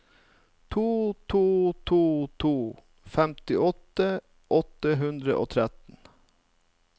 to to to to femtiåtte åtte hundre og tretten